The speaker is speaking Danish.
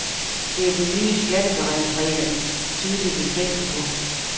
Det er de nye skatteberegningsregler et tydeligt eksempel på.